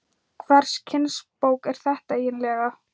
Hvers kyns bók er þetta eiginlega?